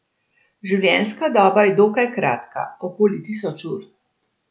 Življenjska doba je dokaj kratka, okoli tisoč ur.